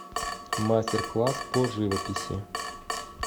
мастер класс по живописи